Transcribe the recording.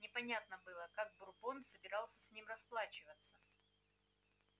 непонятно было как бурбон собирался с ним расплачиваться